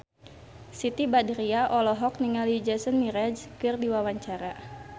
Siti Badriah olohok ningali Jason Mraz keur diwawancara